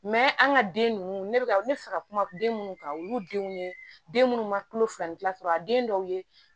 an ka den ninnu ne bɛ n bɛ fɛ ka kuma den minnu kan olu denw ye den minnu ma tulo filani dilan a den dɔw ye